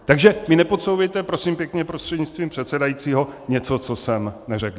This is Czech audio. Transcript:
Takže mi nepodsouvejte, prosím pěkně prostřednictvím předsedajícího, něco, co jsem neřekl.